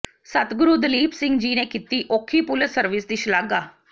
ਸਤਿਗੁਰੂ ਦਲੀਪ ਸਿੰਘ ਜੀ ਨੇ ਕੀਤੀ ਔਖੀ ਪੁਲਿਸ ਸਰਵਿਸ ਦੀ ਸ਼ਲਾਘਾ